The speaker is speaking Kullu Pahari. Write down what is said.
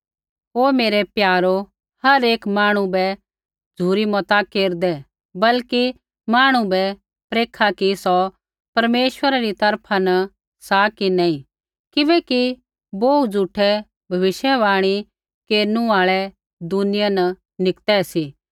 ओ मेरै प्यारो हर एक मांहणु बै झ़ुरी मता केरदै बल्कि मांहणु बै परखा कि सौ परमेश्वरा री तरफा न सा कि नैंई किबैकि बोहू झ़ूठै भविष्यवाणी केरनु आल़ै दुनिया न निकतै सी